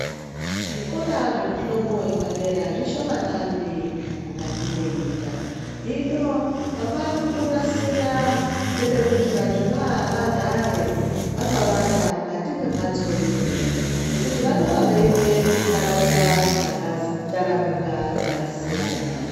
Zvikora zvemihlobo yepadera zvishomanani mukati mwenyika, hino vakutonasira nepekuti vantu vagare vakawanda mukati mwembatso imwe ngekuti vanenge veibve kuntaraunda dzakataramuka dzakasiyana.